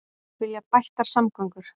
Vilja bættar samgöngur